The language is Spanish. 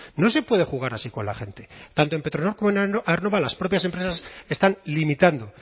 no se puede jugar así con la gente tanto en petronor como aernnova las propias empresas están limitando